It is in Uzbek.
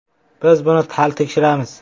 Biz buni hali tekshiramiz.